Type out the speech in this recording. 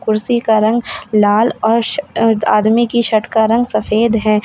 कुर्सी की रंग लाल और स आदमी की शर्ट का रंग सफेद है।